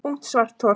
Ungt svarthol